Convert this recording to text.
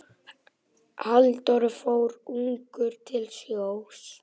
Halldór fór ungur til sjós.